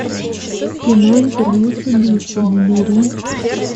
кино интервью с убийцей набери